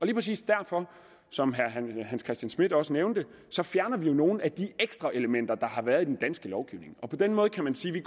præcis derfor som herre hans christian schmidt også nævnte fjerner vi jo nogle af de ekstra elementer der har været i den danske lovgivning på den måde kan man sige at